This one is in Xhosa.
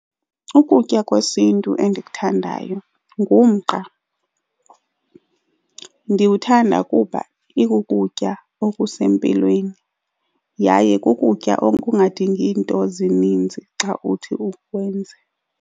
Ukutya kwesiNtu endikuthandayo ngumqa. Ndiwuthanda kuba ikukutya okusempilweni yaye kukutya okungadingi nto zininzi xa uthi ukwenze.